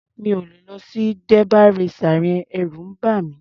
Mi ò lè lọ sí derby racer yẹn. Ẹ̀rù ń bà mí.